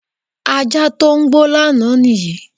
Ajá tó gbó lánàá nìyí.